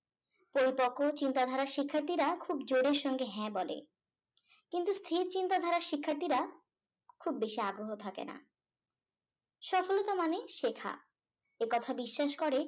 পরিপক্ক চিন্তা ধারার শিক্ষার্থীরা খুব জোরের সঙ্গে হ্যাঁ বলে কিন্তু স্থির চিন্তা ধারার শিক্ষার্থীরা খুব বেশি আগ্রহ থাকে না সফলতা মানে শেখা একথা বিশ্বাস করে